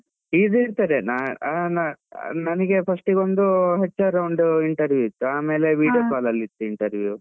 ಇದು ಇರ್ತದೆ ಆ ನನ್ಗೆ first ಗೊಂದು HR round interview ಇತ್ತು video call ಅಲ್ಲಿ ಇತ್ತು interview .